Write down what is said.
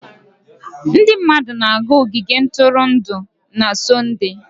Ndị mmadụ na-aga ogige ntụrụndụ na Sọnde.